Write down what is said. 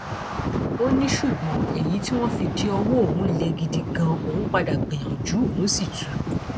ó ní ṣùgbọn èyí tí wọn fi de ọwọ òun lè gidi ganan òun padà gbìyànjú òun sì tù ú